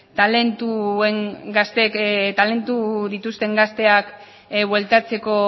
talentuak dituzten gazteak bueltatzeko